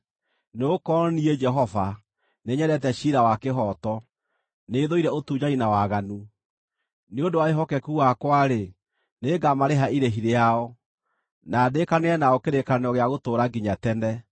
“Nĩgũkorwo niĩ, Jehova, nĩnyendete ciira wa kĩhooto; nĩthũire ũtunyani na waganu. Nĩ ũndũ wa wĩhokeku wakwa-rĩ, nĩngamarĩha irĩhi rĩao, na ndĩĩkanĩre nao kĩrĩkanĩro gĩa gũtũũra nginya tene.